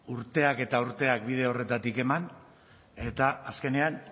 urteak eta urteak bide horretatik eman eta azkenean